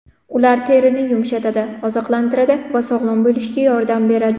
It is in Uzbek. Ular terini yumshatadi, oziqlantiradi va sog‘lom bo‘lishga yordam beradi.